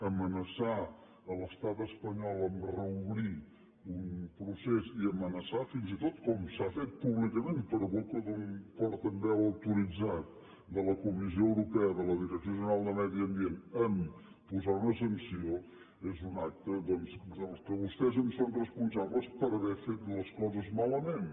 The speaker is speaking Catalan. amenaçar l’estat espanyol amb reobrir un procés i amenaçar fins i tot com s’ha fet públicament per boca d’un portaveu autoritzat de la comissió europea de la direcció general de medi ambient amb posar una sanció és un acte doncs del qual vostès són responsables per haver fet les coses malament